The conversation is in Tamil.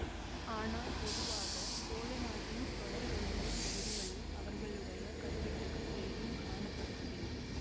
ஆனால் பொதுவாக சோழ நாட்டின் தொலைவெல்லைப் பகுதிகளில் அவர்களுடைய கல்வெட்டுகள் பெரிதும் காணப்படுவதில்லை